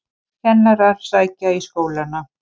Kennarar sækja í skólana